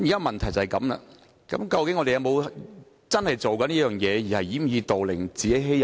問題是，我們是否已經在做這件事情，而只是掩耳盜鈴，自欺欺人呢？